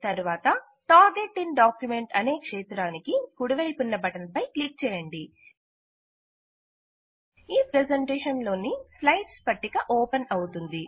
తరువాత target in document అనే క్షేత్రానికి కుడిపైపున్న బటన్ పై క్లిక్ చేయండి ఈ ప్ర్రెసెంటేషన్ లోని స్లైడ్స్ పట్టిక ఓపెన్ అవుతుంది